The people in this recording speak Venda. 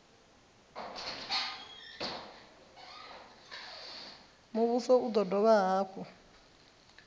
muvhuso u do dovha hafhu